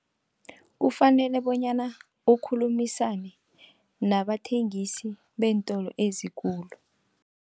Kufanele bonyana ukhulumisane nabathengisi beentolo ezikulu.